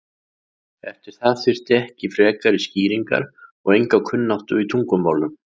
Eftir það þyrfti ekki frekari skýringar og enga kunnáttu í tungumálum.